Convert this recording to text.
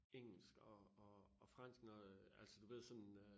Engelsk og og og fransk når øh altså du ved sådan øh